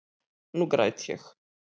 Nú græt ég.